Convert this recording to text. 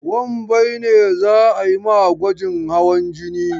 Wambai ne za a yi ma gwajin hawan jini.